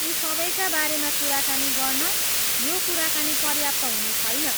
यी सबैका बारेमा कुरा गर्न यो कुराकानी पर्याप्त हुने छैन।